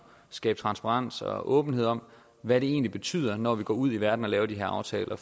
skabe transparens og åbenhed om hvad det egentlig betyder når vi går ud i verden og laver de her aftaler